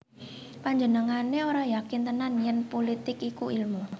Panjenengané ora yakin tenan yèn pulitik iku ilmu